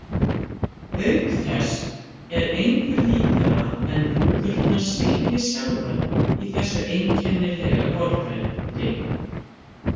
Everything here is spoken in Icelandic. Auk þess er engu líkara en rúðurnar svitni sjálfar í þessu einkennilega vorveðri.